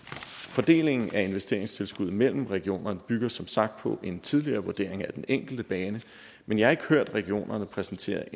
fordelingen af investeringstilskuddet mellem regionerne bygger som sagt på en tidligere vurdering af den enkelte bane men jeg har ikke hørt regionerne præsentere